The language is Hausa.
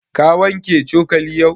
Ka wanke cokali yau?